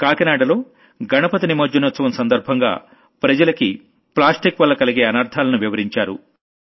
కాకినాడలో గణపతి నిమజ్జనోత్సవం సందర్భంగా జనానికి ప్లాస్టిక్ వల్ల కలిగే అనర్థాలను వివరించారు